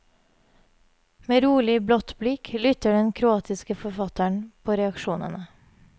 Med rolig, blått blikk lytter den kroatiske forfatteren på reaksjonene.